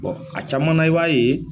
a caman na i b'a ye